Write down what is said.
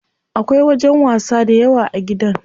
Akwai wajen wasa dayawa a gidan.